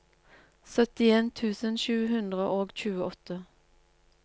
syttien tusen sju hundre og tjueåtte